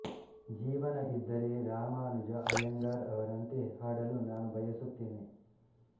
ಜೀವನ ಇದ್ದರೆ ರಾಮಾನುಜ ಅಯ್ಯಂಗಾರ್ ಅವರಂತೆ ಹಾಡಲು ನಾನು ಬಯಸುತ್ತೇನೆ